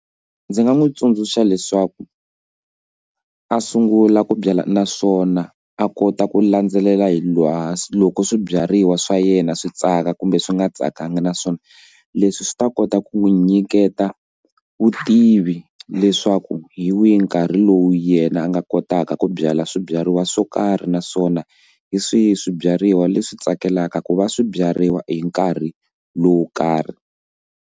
Ndzi nga n'wi tsundzuxa leswaku a sungula ku byala naswona a kota ku landzelela hi lowa loko swibyariwa swa yena swi tsaka kumbe swi nga tsakanga naswona leswi swi ta kota ku n'wi nyiketa vutivi leswaku hi wihi nkarhi lowu yena a nga kotaka ku byala swibyariwa swo karhi naswona hi swihi swibyariwa leswi tsakelaka ku va swi byariwa hi nkarhi lowu karhi.